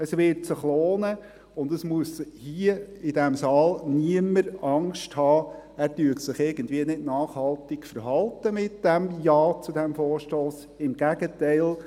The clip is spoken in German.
Es wird sich lohnen, und niemand hier in diesem Saal muss Angst haben, er verhalte sich mit einem Ja zu diesem Vorstoss nicht nachhaltig – im Gegenteil